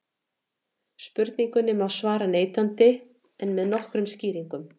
Spurningunni má svara neitandi en með nokkrum skýringum.